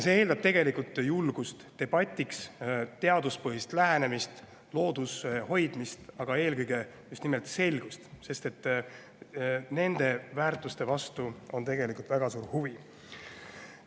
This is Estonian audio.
See eeldab tegelikult julgust debatiks, teaduspõhist lähenemist, looduse hoidmist, aga eelkõige just nimelt selgust, sest nende väärtuste vastu on väga suur huvi.